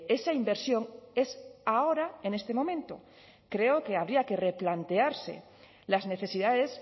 esa inversión es ahora en este momento creo que habría que replantearse las necesidades